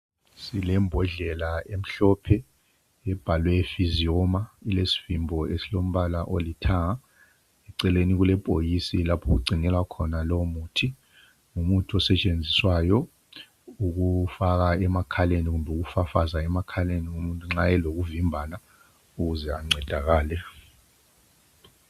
Silembhondlela emhlophe ebhalwe physiomer ilesivimbo esilombala olithanga eceleni kulebhokisi lapho okugcinelwa khona lowomuthi ngumuthi osetshenziswayo ukufaka emakhaleni kumbe ukufafaza emakhaleni umuntu nxa elokuvimbana ukuze ancedakale.